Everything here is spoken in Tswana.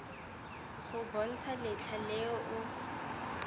go bontsha letlha le o